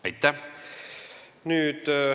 Aitäh!